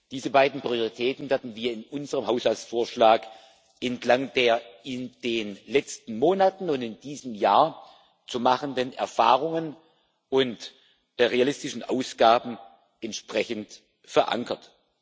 Diese beiden Prioritäten werden wir in unserem Haushaltsvorschlag entlang der in den letzten Monaten und in diesem Jahr zu machenden Erfahrungen und realistischen Ausgaben entsprechend verankern.